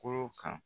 Kolo kan